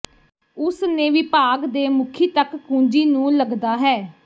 ਉਸ ਨੇ ਵਿਭਾਗ ਦੇ ਮੁਖੀ ਤੱਕ ਕੁੰਜੀ ਨੂੰ ਲੱਗਦਾ ਹੈ